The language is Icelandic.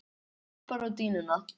Hann klappar á dýnuna.